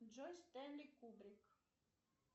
джой стэнли кубрик